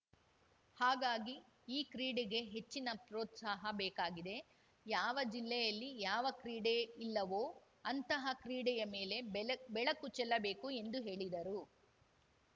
ಹಾಗಾಗಿ ಈ ಕ್ರೀಡೆಗೆ ಹೆಚ್ಚಿನ ಪ್ರೋತ್ಸಾಹ ಬೇಕಾಗಿದೆ ಯಾವ ಜಿಲ್ಲೆಯಲ್ಲಿ ಯಾವ ಕ್ರೀಡೆ ಇಲ್ಲವೋ ಅಂತಹ ಕ್ರೀಡೆಯ ಮೇಲೆ ಬೆಲಕ್ ಬೆಳಕು ಚೆಲ್ಲಬೇಕು ಎಂದು ಹೇಳಿದರು